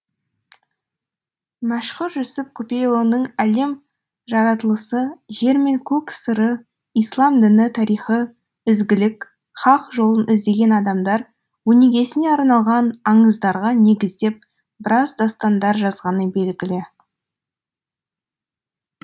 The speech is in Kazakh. мәшһүр жүсіп көпейұлының әлем жаратылысы жер мен көк сыры ислам діні тарихы ізгілік хақ жолын іздеген адамдар өнегесіне арналған аңыздарға негіздеп біраз дастандар жазғаны белгілі